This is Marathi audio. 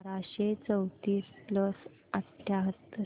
बाराशे चौतीस प्लस अठ्याहत्तर